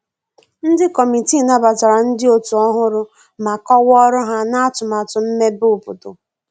Ndi kọmitịị nabatara ndi otu ohụrụ ma kowaa ọrụ ha na atumatu mmebe obodo